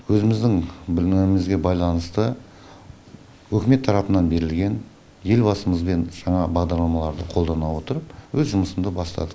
өзіміздің білімімізге байланысты үкімет тарапынан берілген елбасымызмен жаңа бағдарламаларды қолдана отырып өз жұмысымды бастадық